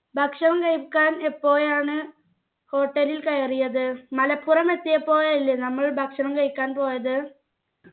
ഭക്ഷണം കഴിക്കാൻ എപ്പോഴാണ് hotel ൽ കയറിയത് എത്തിയപ്പോഴല്ലേ നമ്മൾ ഭക്ഷണം കഴിക്കാൻ പോയത്